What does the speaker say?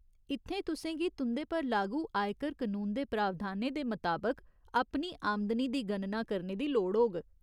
इत्थें तुसें गी तुं'दे पर लागू आयकर कनून दे प्रावधानें दे मताबक अपनी आमदनी दी गणना करने दी लोड़ होग।